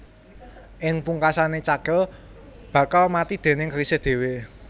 Ing pungkasané cakil bakal mati déning kerisé dhéwé